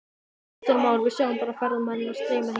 Kristján Már: Við sjáum bara ferðamennina streyma hingað?